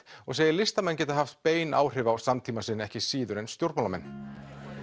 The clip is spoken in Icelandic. og segir listamenn geta haft bein áhrif á samtíma sinn ekki síður en stjórnmálamenn